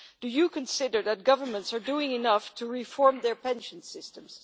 Do you consider that governments are doing enough to reform their pension systems?